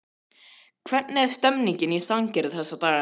Hvernig er stemningin í Sandgerði þessa dagana?